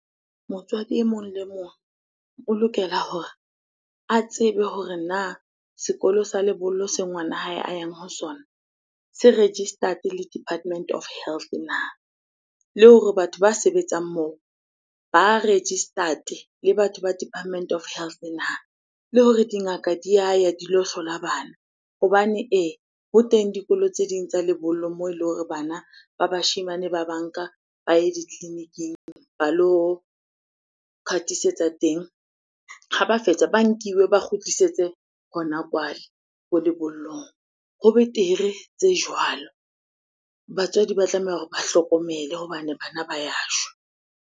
Motswadi e mong le mong o lokela hore a tsebe hore na sekolo sa lebollo se ngwana hae a yang ho sona se registered le department of health na? Le hore batho ba sebetsang moo ba registered le batho ba department of health na? Le hore dingaka di yaya di lo hlola bana hobane ee, ho teng dikolo tse ding tsa lebollo moo eleng hore bana ba bashemane ba ba nka ba ye ditleliniking ba lo ka teng. Ha ba fetsa, ba nkiwe ba kgutlisetse hona kwale ko lebollong. Ho betere tse jwalo, batswadi ba tlameha hore ba hlokomele hobane bana ba ya shwa.